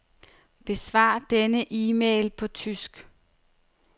Besvar denne e-mail på tysk.